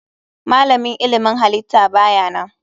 Malamin ilmin halitta ba ya nan.